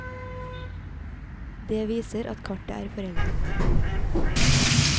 Det viser at kartet er foreldet.